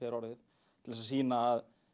er orðið til þess að sýna að